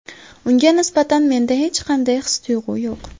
Unga nisbatan menda hech qanday his-tuyg‘u yo‘q.